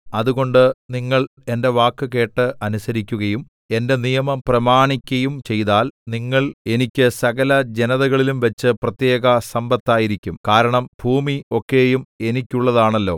അതുകൊണ്ട് നിങ്ങൾ എന്റെ വാക്ക് കേട്ട് അനുസരിക്കുകയും എന്റെ നിയമം പ്രമാണിക്കയും ചെയ്താൽ നിങ്ങൾ എനിക്ക് സകല ജനതകളിലുംവച്ചു പ്രത്യേക സമ്പത്തായിരിക്കും കാ‍രണം ഭൂമി ഒക്കെയും എനിക്കുള്ളതാണല്ലോ